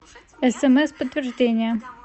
смс подтверждение